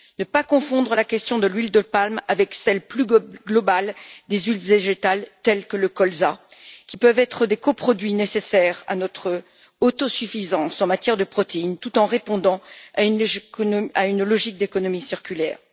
Il ne faut pas confondre la question de l'huile de palme avec celle, plus globale, des huiles végétales, telles que le colza, qui peuvent être des coproduits nécessaires à notre autosuffisance en matière de protéines tout en répondant à une logique d'économie circulaire.